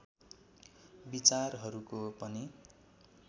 विचारहरको पनि